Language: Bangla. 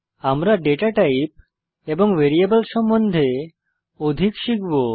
আমরা ডেটা টাইপ এবং ভ্যারিয়েবল সম্বন্ধে অধিক শিখব